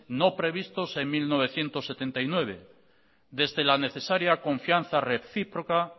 no previstos en mil novecientos setenta y nueve desde la necesaria confianza recíproca